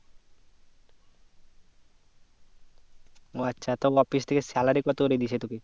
ও আচ্ছা তা office থেকে salary কত করে দিচ্ছে তোকে